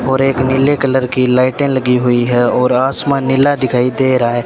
और एक नीले कलर की लाइटें लगी हुई है और आसमान नीला दिखाई दे रहा है।